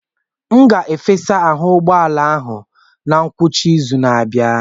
M ga-efesa ahụ ụgbọ ala ahụ na ngwụcha izu na-abịa.